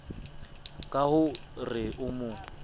ka ho re o mo